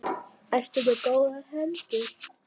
Ertu með góðar hendur?